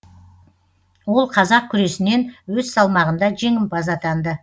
ол қазақ күресінен өз салмағында жеңімпаз атанды